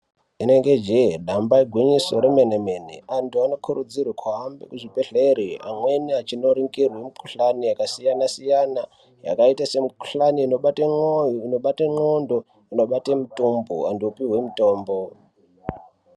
Inenge jee nyamba igwinyiso remene-mene, antu anokurudzirwe kuhambe muzvibhedhlera amweni achinoringirwe mukhuhlani yakasiyana-siyana yakaita semukhuhlani inobate mwoyo inobate ndxondo, inobate mutombo anhu opuwe mutombo